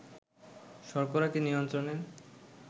শর্করাকে নিয়ন্ত্রণের